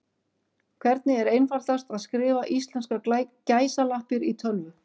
Hvernig er einfaldast að skrifa íslenskar gæsalappir í tölvu?